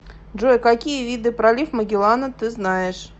джой какие виды пролив магеллана ты знаешь